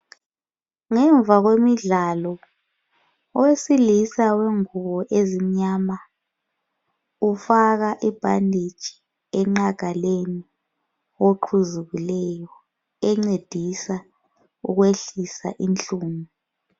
ngemva kwemidlalo owesilisa wengobo ezimnyama ufaka i bandage enqagaleni yoqhuzukileyo engcedisa ukwehlisa inhlungu